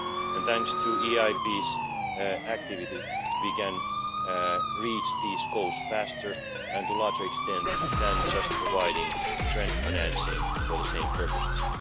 And thanks to the EIB's activity we can reach these goals faster and to a larger extent than just providing grant financing for the same purposes.